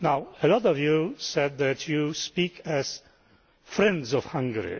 A lot of you said that you speak as friends of Hungary.